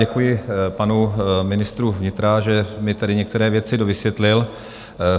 Děkuji panu ministru vnitra, že mi tady některé věci dovysvětlil.